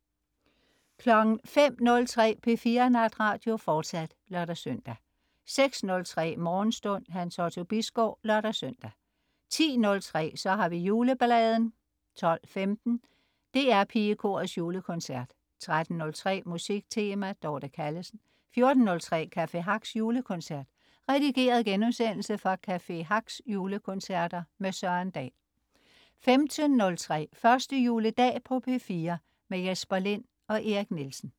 05.03 P4 Natradio, fortsat (lør-søn) 06.03 Morgenstund. Hans Otto Bisgaard (lør-søn) 10.03 Så har vi jule-balladen 12.15 DR Pigekorets Julekoncert 13.03 Musik Tema. Dorte Callesen 14.03 Café Hacks julekoncert. Redigeret genudsendelse fra Café Hacks julekoncerter. Søren Dahl 15.03 Første juledag på P4. Jesper Lind og Erik Nielsen